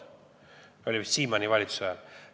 See oli vist Siimanni valitsuse ajal.